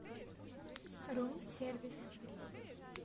рум сервис